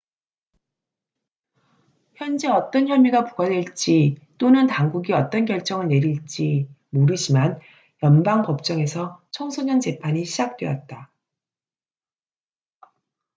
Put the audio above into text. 현재 어떤 혐의가 부과될지 또는 당국이 어떤 결정을 내릴지 모르지만 연방 법정에서 청소년 재판이 시작되었다